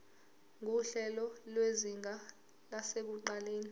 nguhlelo lwezinga lasekuqaleni